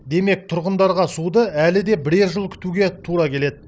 демек тұрғындарға суды әлі де бірер жыл күтуге тура келеді